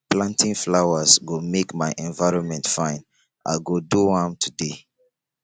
planting flowers go make my environment fine i go do am today